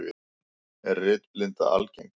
Er litblinda algeng?